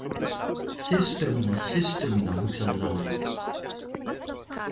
Systur mína, systur mína, hugsaði Lalli.